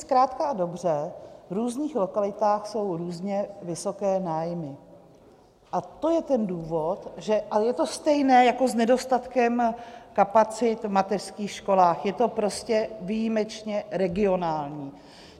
Zkrátka a dobře, v různých lokalitách jsou různě vysoké nájmy a to je ten důvod - a je to stejné jako s nedostatkem kapacit v mateřských školách, je to prostě výjimečně regionální.